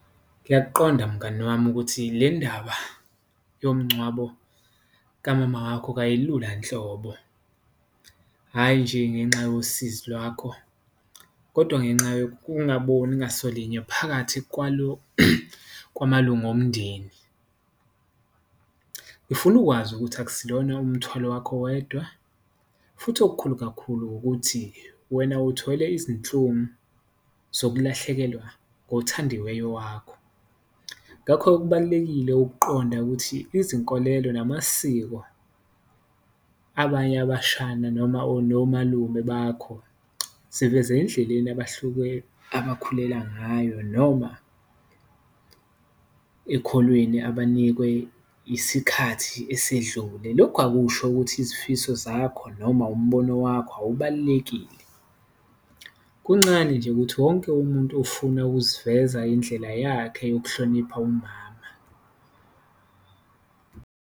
Ngiyakuqonda mngani wami ukuthi le ndaba yomngcwabo kamama wakho kuyayikhulula nhlobo, hhayi nje ngenxa yosizo lwakho kodwa ngenxa yokungaboni ngasolinye phakathi kwamalunga omndeni. Ngifuna ukwazi ukuthi akusilona umthwalo wakho wedwa futhi okukhulu kakhulu ukuthi wena uthwele izinhlungu zokulahlekelwa ngothandiwe wakho ngakho-ke, kubalulekile ukuqonda ukuthi izinkolelo namasiko, abanye abashana noma nomalume bakho, siveze endleleni abuhluke, abakhulela ngayo noma ekholweni abanikwe isikhathi esedlule. Lokho akusho ukuthi izifiso zakho noma umbono wakho akubalulekile, kuncane nje ukuthi wonke umuntu ufuna ukuziveza indlela yakhe yokuhlonipha umama.